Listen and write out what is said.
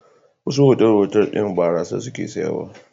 Wasu otal-otal ɗin barasa suke sayarwa.